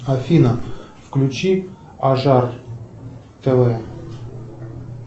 афина включи ажар тв